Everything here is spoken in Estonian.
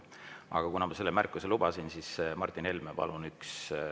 Aga kuna ma selle märkuse lubasin, siis, Martin Helme, palun!